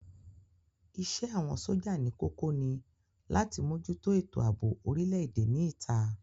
Isẹ́ àwọn sójà ní kókó ni láti mójútó ètò àbò orile-èdè ní ìta